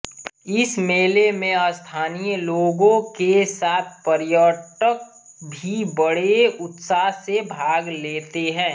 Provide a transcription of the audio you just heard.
इस मेले में स्थानीय लोगों के साथ पर्यटक भी बड़े उत्साह से भाग लेते हैं